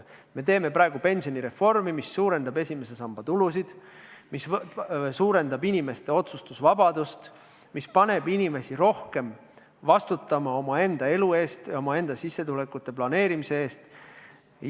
Me teeme praegu pensionireformi, mis suurendab esimese samba tulusid, suurendab inimeste otsustusvabadust, paneb inimesi rohkem vastutama omaenda elu eest, omaenda sissetulekute planeerimise eest.